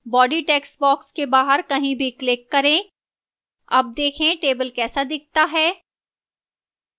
body textbox के बाहर कहीं भी click करें अब देखें table कैसा दिखता है